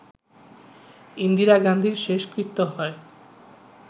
ইন্দিরা গান্ধীর শেষকৃত্য হয়